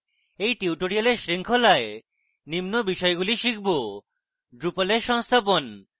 in tutorial শৃঙ্খলায় নিম্ন বিষয়গুলি শিখব: drupal in সংস্থাপন